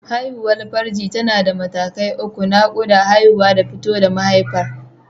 Haihuwar farji tana da mataki uku: Naƙuda, Haihuwa da fito da mahaifa.